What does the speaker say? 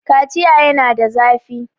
Kaciya yana da zafi.